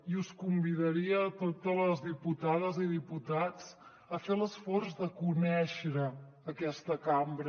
i us convidaria a totes les diputades i diputats a fer l’esforç de conèixer aquesta cambra